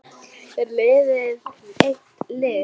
Er liðið eitt lið?